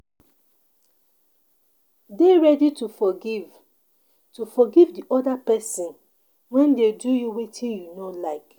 Dey ready to forgive to forgive di oda person when dem do you wetin you no like